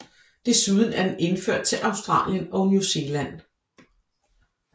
Desuden er den indført til Australien og New Zealand